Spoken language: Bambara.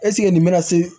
nin bɛna se